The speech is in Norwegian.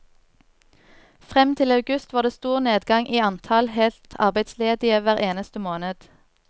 Frem til august var det stor nedgang i antall helt arbeidsledige hver eneste måned.